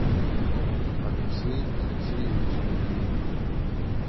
алексей алексеевич ильин